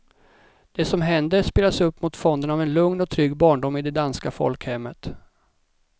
Det som händer spelas upp mot fonden av en lugn och trygg barndom i det danska folkhemmet.